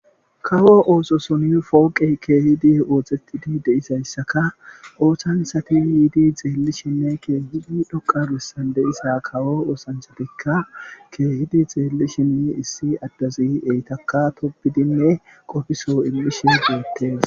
kawo ooso suni fooqe keehidi oohxetidi deisayssaka ooththansati yiidi xeellishinne keehidi dhoqabissan de isa kawo oosanchatikka keehidi xeelli shinni issi addazi eytaka tobidinne qofiso ilmishe gootte